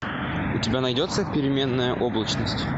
у тебя найдется переменная облачность